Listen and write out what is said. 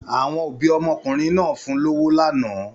Àwọn òbí ọmọkùnrin náà fún lọ́wọ́ lánàá.